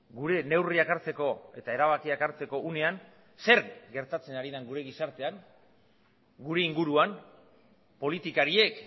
gure neurriak hartzeko eta erabakiak hartzeko unean zer gertatzen ari den gure gizartean gure inguruan politikariek